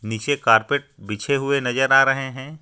निचे कारपेट बिछे हुए नजर आ रहे हे.